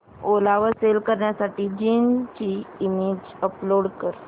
ओला वर सेल करण्यासाठी जीन्स ची इमेज अपलोड कर